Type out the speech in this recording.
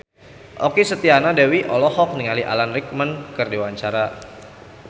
Okky Setiana Dewi olohok ningali Alan Rickman keur diwawancara